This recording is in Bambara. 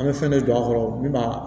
An bɛ fɛn dɔ don a kɔrɔ min b'a